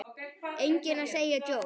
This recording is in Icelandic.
Enginn að segja djók?